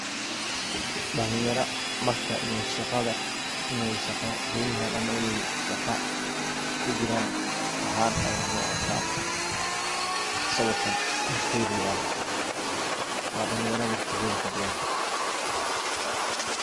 Dhalinyara marka iney shaqa don yahan ama marka iney shaqa kujiran ahan ayan u arka ,sawirkan horteyda yalo waa dhalinyara waqtogoda kujiran.